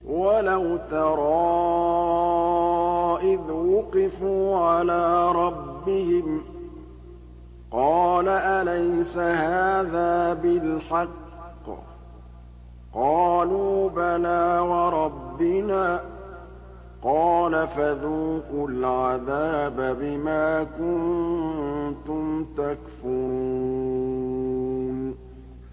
وَلَوْ تَرَىٰ إِذْ وُقِفُوا عَلَىٰ رَبِّهِمْ ۚ قَالَ أَلَيْسَ هَٰذَا بِالْحَقِّ ۚ قَالُوا بَلَىٰ وَرَبِّنَا ۚ قَالَ فَذُوقُوا الْعَذَابَ بِمَا كُنتُمْ تَكْفُرُونَ